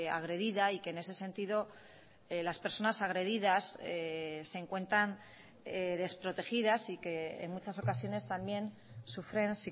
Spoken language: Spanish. agredida y que en ese sentido las personas agredidas se encuentran desprotegidas y que en muchas ocasiones también sufren